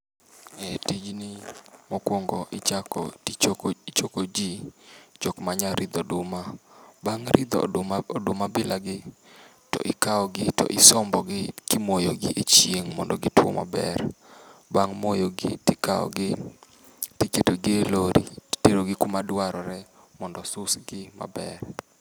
Eh tijni mokuongo ichako gi choko ji. Jok manyalo ridho oduma. Bang' ridho oduma bilagi, to ikawo gi to isombo gi imoyo gi echieng' mondo gitwo maber. Bang' moyogi tikawo gi to iketogi e lorry to iterogi kuma dwarre mondo susgi maber.